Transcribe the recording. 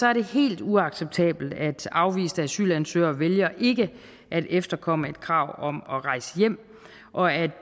er det helt uacceptabelt at afviste asylansøgere vælger ikke at efterkomme et krav om at rejse hjem og at